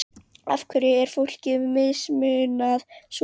Af hverju er fólki mismunað svona?